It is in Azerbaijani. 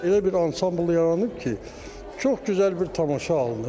Elə bir ansambl yaranıb ki, çox gözəl bir tamaşa alınıb.